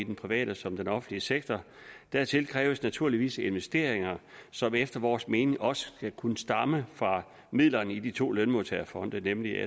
private som den offentlige sektor dertil kræves naturligvis investeringer som efter vores mening også skal kunne stamme fra midlerne i de to lønmodtagerfonde nemlig